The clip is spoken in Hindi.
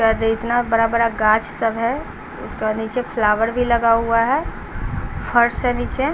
इतना बड़ा बड़ा गाछ सब है उसके बाद नीचे फ्लावर भी लगा हुआ है फर्स है नीचे--